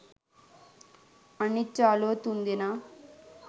අනිත් යාලුවෝ තුන්දෙනා